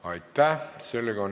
Aitäh!